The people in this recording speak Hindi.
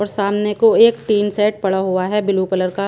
और सामने को एक टीन सेट पड़ा हुआ हैं ब्लू कलर का--